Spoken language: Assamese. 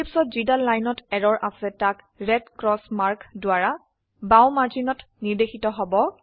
Eclipseঅত যিদাল লাইনত এৰৰ আছে তাক ৰেড ক্ৰচ মাৰ্ক দ্বাৰা বাও মাৰ্জিনত নিৰ্দেশিত হব